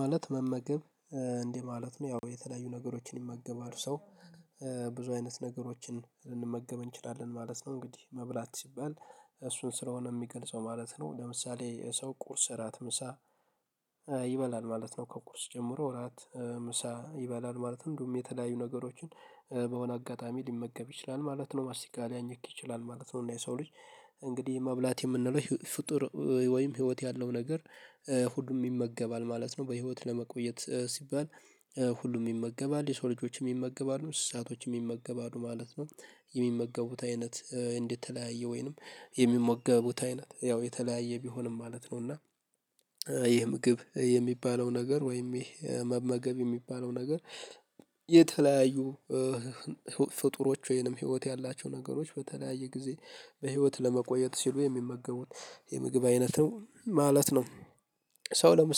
ማለት መመገብ እንዲህ ማለት ነው። ያው የተለያዩ ነገሮችን ይመገባል ሰው ብዙ አይነት ነገሮችን ልንመገብ እንችላለን ማለት ነው። እንግዲህ መብላት ሲባል እሱን ስለሆነ የሚገልጸው ማለት ነው። ለምሳሌ ሰው ቁርስ እራት ምሳ ይበላል ማለት ነው። ከቁርስ ጀምሮ እራት ምሳ ይበላል ማለትም እንዲሁም የተለያዩ ነገሮችን በሆነ አጋጣሚ ሊመገብ ይችላል ማለት ነው። ማስቲካ ሊያኝክ ይችላል ማለት ነው። እና የሰው ልጅ እንግዲህ መብላት የምንለው ፍጡር ወይም ህይወት ያለው ነገር ሁሉም ይመገባል ማለት ነው። በህይወት ለመቆየት ሲባል ሁሉም ይመገባል። የሰው ልጆችም ይመገባሉ እንስሳቶችም ይመገባሉ ማለት ነው። የሚመገቡት አይነት የተለያየ ወይንም የሚመገቡት አይነት ያው የተለያየ ቢሆንም ማለት ነው እና ይሄ ምግብ የሚባለው ነገር ወይም ይህ መመገብ የሚባለው ነገር የተለያዩ ፍጡሮች ወይንም ህይወት ያላቸው ነገሮች በተለያየ ጊዜ በህይወት ለመቆየት ሲሉ የሚመገቡት የምግብ አይነት ነው ማለት ነው ሰው ለም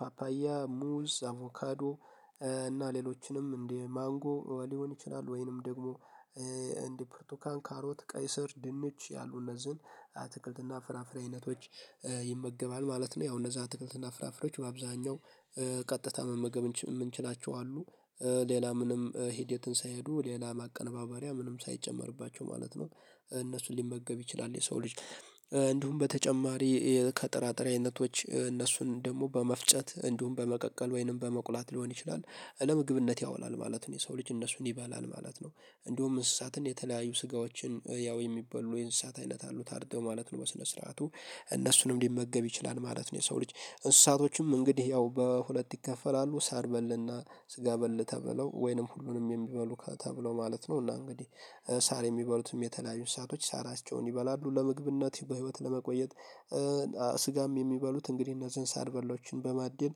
ፓፓያ ሙዝ አቮካዶ እና ሌሎችንም እንደ ማንጎ ሊሆን ይችላል ወይንም ደግሞ እንደ ብርቱካን ካሮት ቀይ ስር ድንች ያሉ እነዚህን አትክልትና ፍራፍሬ አይነቶች ይመገባል ማለት ነው። ያው እነዛ አትክልት ፍራፍሬዎች በአብዛኛው ቀጥታ መመገብ የምንችላቸው አሉ። ሌላ ምንም ሂደትን ሳይሄዱ ሌላ ማቀነባበሪያ ምንም ሳይጨመርባቸው ማለት ነው እነሱን ሊመገብ ይችላል የሰው ልጅ እንዲሁም በተጨማሪ ከጥራጥሬ አይነቶች እነሱን ደግሞ በመፍጨት እንዲሁም በመቀቀል ወይንም በመቁላት ሊሆን ይችላል ለምግብነት ያውላል ማለት ነው። የሰው ልጅ እነሱን ይበላል ማለት ነው። እንዲሁም እንስሳትን የተለያዩ ስጋዎችን ያው የሚባሉ የእንስሳት አይነት አሉ። ታርደው ማለት ነው በስነ ስርዓቱ እነሱንም ሊመገብ ይችላል ማለት ነው የሰው ልጅ። እንስሳቶችም እንግዲህ ያው በሁለት ይከፈላሉ ሳር በልና ስጋ በል ተበለው ወይንም ሁሉንም የሚበሉ ተብለው ማለት ነው እና እንግዲህ ሳር የሚበሉትም የተለያዩ እንስሳቶችም ሳራቸውን ይበላሉ ለምግብነት በህይወት ለመቆየት ስጋም የሚበሉት እንግዲህ እነዚህን ሳር በሎችን በማደን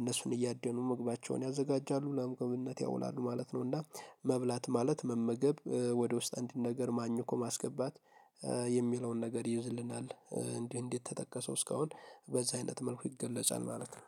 እነሱን እያደኑ ምግባቸውን ያዘጋጃሉ ለምግብነት ያውላሉ ማለት ነው። እና መብላት ማለት መመገብ ወደ ውስጥ አንድ ነገር አኝኮ ማስገባት የሚለውን ነገር ይዝልናል እንዲህት እንዲህ የተጠቀሰው እስካሁን በዚህ አይነት መልኩ ይገለጻል ማለት ነው።